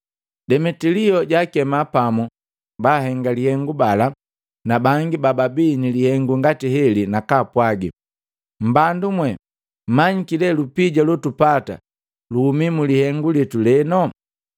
Demetilio jaakema pamu bahenga lihengu bala na bangi bababii ni lihengu ngati heli nakaapwagi, “Mbandumwe, mmanyiki lee lupia lotupata luhumi mulihengu litu leno.